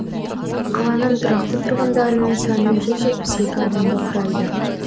қаланың тұрақты тұрғындарының саны жүз жетпіс екі адамды құрайды